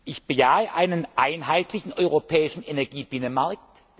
Frage. Ich bejahe einen einheitlichen europäischen Energiebinnenmarkt.